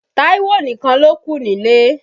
Táíwò nìkan lókù nílé.